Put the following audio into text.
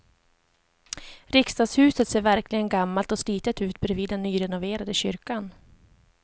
Riksdagshuset ser verkligen gammalt och slitet ut bredvid den nyrenoverade kyrkan.